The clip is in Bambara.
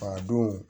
A don